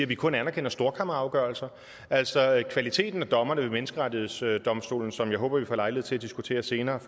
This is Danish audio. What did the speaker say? vi kun anerkender storkammerafgørelser altså kvaliteten af dommerne ved menneskerettighedsdomstolen som jeg håber vi får lejlighed til at diskutere senere